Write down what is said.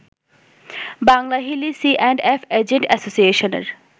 Banglahili C and F agent অ্যাসোসিয়েশনের